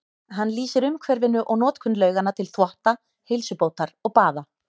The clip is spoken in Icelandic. Hann lýsir umhverfinu og notkun lauganna til þvotta, heilsubótar og baða.